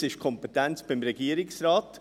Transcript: Jetzt liegt die Kompetenz beim Regierungsrat.